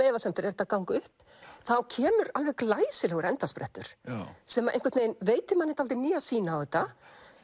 efasemdir er þetta að ganga upp þá kemur alveg glæsilegur endasprettur sem veitir manni dálítið nýja sýn á þetta